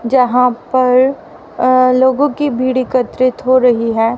जहां पर अ लोगों की भीड एकत्रित हो रही है।